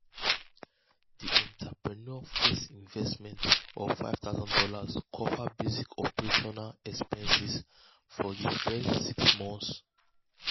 um di entrepreneur first investment of five thousand dollars cover basic operational expenses for di first six um monts. um